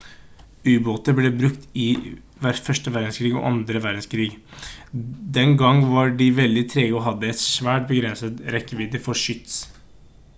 ubåter ble brukt i vv1 og vv2. den gang var de veldig trege og hadde et svært begrenset rekkevidde for skyts